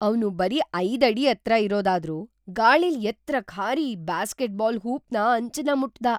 ಅವ್ನು ಬರೀ ಐದು ಅಡಿ ಎತ್ರ ಇರೋದಾದ್ರೂ ಗಾಳಿಲ್ ಎತ್ರಕ್‌ ಹಾರಿ ಬ್ಯಾಸ್ಕೆಟ್ ಬಾಲ್ ಹೂಪ್‌ನ ಅಂಚನ್ನ ಮುಟ್ದ.